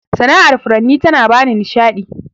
Sana'ar furanni ta na bani nishaɗi.